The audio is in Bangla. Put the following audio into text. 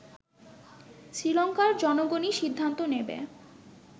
শ্রীলংকার জনগণই সিদ্ধান্ত নেবে